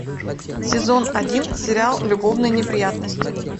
сезон один сериал любовные неприятности